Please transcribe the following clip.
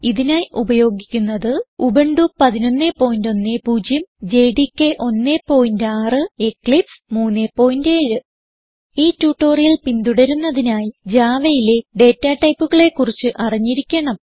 ഇതിനായി ഉപയോഗിക്കുന്നത് Ubuntu 1110 JDK 16 Eclipse 37 ഈ ട്യൂട്ടോറിയൽ പിന്തുടരുന്നതിനായി Javaയിലെ ഡേറ്റ ടൈപ്പുകളെ കുറിച്ച് അറിഞ്ഞിരിക്കണം